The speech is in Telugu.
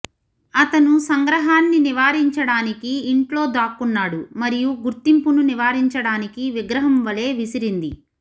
అతను సంగ్రహాన్ని నివారించడానికి ఇంట్లో దాక్కున్నాడు మరియు గుర్తింపును నివారించడానికి విగ్రహం వలె విసిరింది